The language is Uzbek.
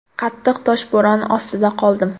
Qattiq toshbo‘ron ostida qoldim.